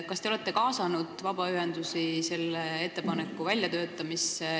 Kas te olete kaasanud vabaühendusi selle ettepaneku väljatöötamisse?